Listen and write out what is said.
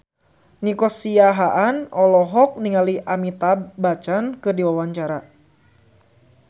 Nico Siahaan olohok ningali Amitabh Bachchan keur diwawancara